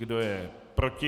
Kdo je proti?